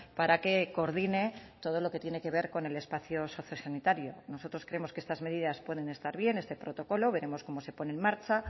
para que coordine todo lo que tiene que ver con el espacio sociosanitario nosotros creemos que estas medidas pueden estar bien este protocolo veremos cómo se pone en marcha